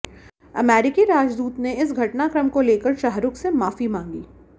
अमेरिकी राजदूत ने इस घटनाक्रम को लेकर शाहरुख से माफी मांगी